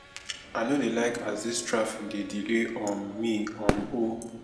i no dey like as dis traffic dey delay um me um o